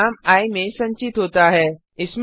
परिणाम आई में संचित होता है